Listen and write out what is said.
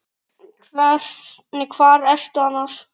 Hvar ertu annars?